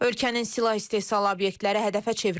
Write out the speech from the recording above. Ölkənin silah istehsalı obyektləri hədəfə çevrilib.